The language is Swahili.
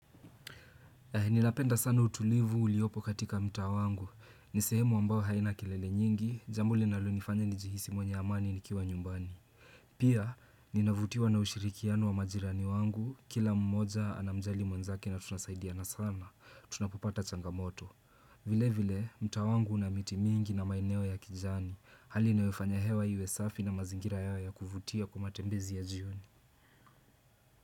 Ninapenda sana utulivu uliopo katika mtaa wangu, ni sehemu ambao haina kilele nyingi, jambo linalonifanya nijihisi mwenye amani nikiwa nyumbani. Pia, ninavutiwa na ushirikiano wa majirani wangu, kila mmoja anamjali mwenzake na tunasaidiana sana, tunapopata changamoto. Vile vile, mtaa wangu una miti mingi na maeneo ya kijani, hali inayofanya hewa iwe safi na mazingira yao ya kuvutia kwa matembezi ya jioni.